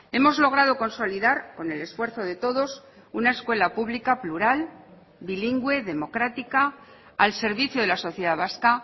hemos logrado consolidar con el esfuerzo de todos una escuela pública plural bilingüe democrática al servicio de la sociedad vasca